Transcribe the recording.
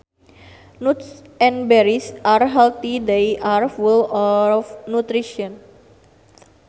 Nuts and berries are healthy they are full of nutrients